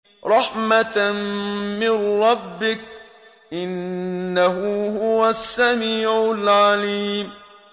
رَحْمَةً مِّن رَّبِّكَ ۚ إِنَّهُ هُوَ السَّمِيعُ الْعَلِيمُ